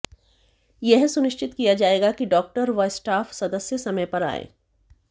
यह सुनिश्चित किया जायेगा कि डाक्टर व स्टाफ सदस्य समय पर आयें